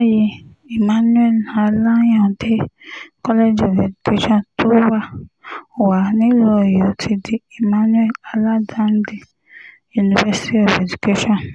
ní báyìí emmanuel alayande college of education tó wà wà nílùú ọ̀yọ́ ti di emmanuel aládàndé university of education